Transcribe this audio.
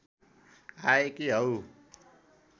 आएकी हौ